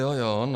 Jo, jo, no.